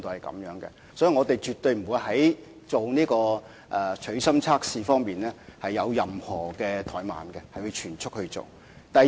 所以，我們絕不會在取芯測試方面有任何怠慢，並會全速進行測試。